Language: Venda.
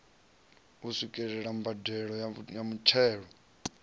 u swikelela mbadelo ya muthelo